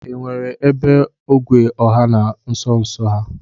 E nwere ebe ogwe ọha nọ nsonso a?